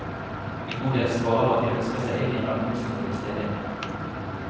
En god del svarer at de ønsker seg inn i en administrativ stilling.